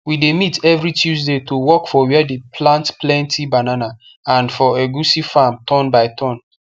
we dey meet every tuesday to work for where they plant plenty banana and for egusi farm turn by turn